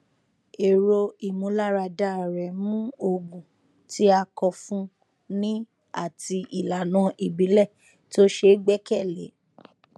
èrò ìmúláradá rẹ mú òògùn tí a kọ fún ni àti ìlànà ìbílẹ tó ṣe gbẹkẹlé